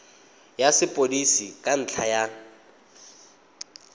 ya sepodisi ka ntlha ya